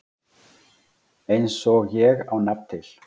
Eins og ég á nafn til.